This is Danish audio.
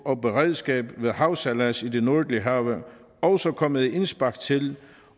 og beredskab ved havsejlads i de nordlige have også kom med et indspark til